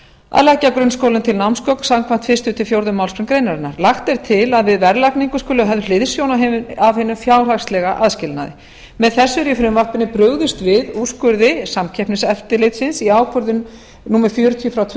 að leggja grunnskólum til námsgögn samkvæmt fyrstu til fjórðu málsgrein greinarinnar lagt er til að við verðlagningu skuli höfð hliðsjón af hinum fjárhagslega aðskilnaði með þessu er í frumvarpinu brugðist við úrskurði samkeppniseftirlitsins í ákvörðun númer fjörutíu tvö